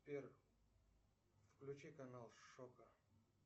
сбер включи канал шока